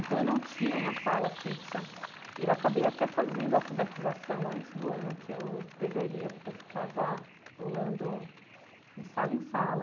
Então eu não tinha uma sala fixa e eu acabei até fazendo alfabetização antes do ano que eu deveria, porque eu ficava pulando de sala em sala.